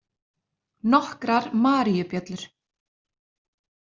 Nokkrar maríubjöllur.